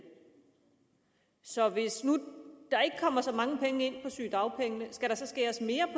så hvis nu der ikke kommer så mange penge ind på sygedagpengene skal der så skæres mere